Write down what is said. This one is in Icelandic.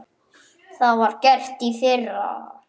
Það var gert í fyrra.